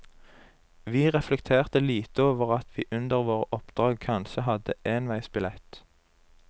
Vi reflekterte lite over at vi under våre oppdrag kanskje hadde enveisbillett.